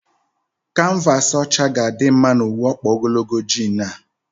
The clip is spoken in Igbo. Kanvaasị ọcha ga adị mma na uwe ọkpa ogologo jiin a?